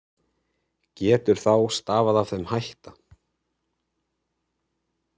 Getur þá stafað af þeim hætta